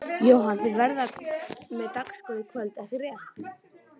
Jóhann: Og þið verðið með dagskrá í kvöld ekki rétt?